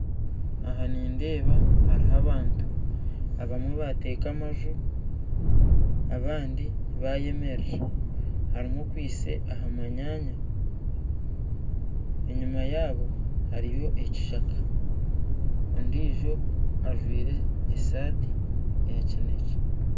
Ahaa nindeeba hariho abantu abamwe bateeka amaju abandi bayemerera hariho okwaitse ahamanyanya enyuma yaabo hariyo ekishaka ondiijo ajwaire esaati ya kinekye